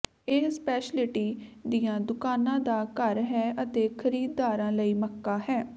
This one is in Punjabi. ਇਹ ਸਪੈਸ਼ਲਿਟੀ ਦੀਆਂ ਦੁਕਾਨਾਂ ਦਾ ਘਰ ਹੈ ਅਤੇ ਖਰੀਦਦਾਰਾਂ ਲਈ ਮੱਕਾ ਹੈ